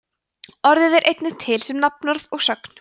orðið er einnig til sem nafnorð og sögn